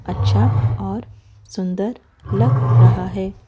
अच्छा और सुंदर लग रहा है।